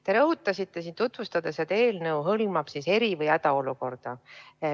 Te rõhutasite siin tutvustades, et eelnõu hõlmab eri- või hädaolukorda.